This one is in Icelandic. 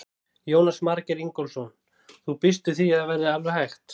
Jónas Margeir Ingólfsson: Þú býst við því að það verði alveg hægt?